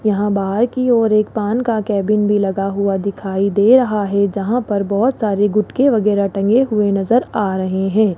यहां बाहर की ओर एक पान का केबिन भी लगा हुआ दिखाई दे रहा है जहां पर बहोत सारे गुटके वगैरह टंगे हुए नजर आ रहे हैं।